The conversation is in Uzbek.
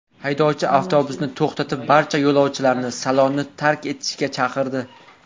Haydovchi avtobusni to‘xtatib, barcha yo‘lovchilarni salonni tark etishga chaqirdi.